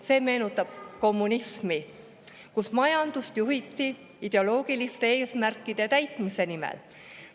See meenutab kommunismi, kui majandust juhiti ideoloogiliste eesmärkide täitmise nimel.